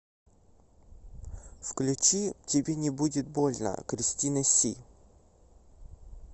включи тебе не будет больно кристина си